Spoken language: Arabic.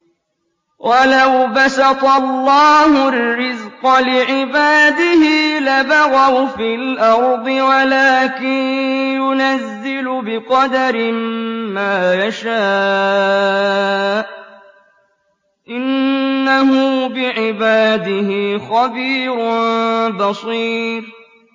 ۞ وَلَوْ بَسَطَ اللَّهُ الرِّزْقَ لِعِبَادِهِ لَبَغَوْا فِي الْأَرْضِ وَلَٰكِن يُنَزِّلُ بِقَدَرٍ مَّا يَشَاءُ ۚ إِنَّهُ بِعِبَادِهِ خَبِيرٌ بَصِيرٌ